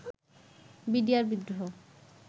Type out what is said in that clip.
BDR বিদ্রোহ